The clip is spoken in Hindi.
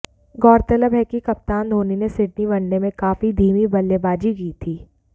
गौरतलब है कि कप्तान धोनी ने सिडनी वनडे में काफी धीमी बल्लेबाजी की थी